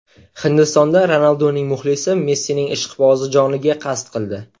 Hindistonda Ronalduning muxlisi Messining ishqibozi joniga qasd qildi.